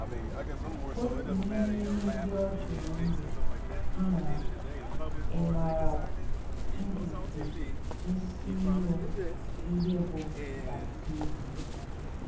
Otu n’ime ihe ndị ọ jụrụ m bụ, “ Nnaa, ị marakwNdubuisiụ ihe bụ́ baptizim? ”